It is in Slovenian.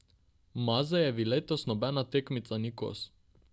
Mazejevi letos nobena tekmica ni kos.